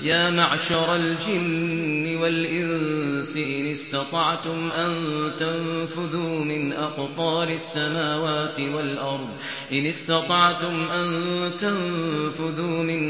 يَا مَعْشَرَ الْجِنِّ وَالْإِنسِ إِنِ اسْتَطَعْتُمْ أَن تَنفُذُوا مِنْ